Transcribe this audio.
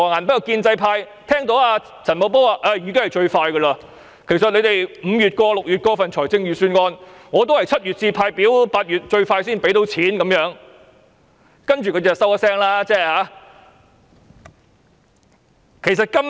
不過，建制派聽到陳茂波表示，即使立法會5月或6月通過預算案，他也會在7月派發表格 ，8 月"派錢"，這已經是最快的安排，他們便無話可說。